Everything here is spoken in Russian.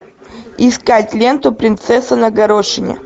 искать ленту принцесса на горошине